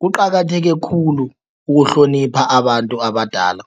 Kuqakatheke khulu ukuhlonipha abantu abadala.